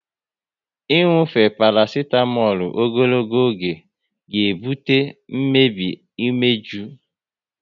Inufe parasitamolu ogologo oge ga ebutenwu mmebi umeju